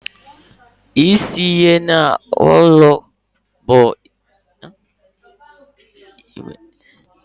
Ime ihe ike n'ime ụlọ bụ isi ihe na-akpata ịgba alụkwaghịm.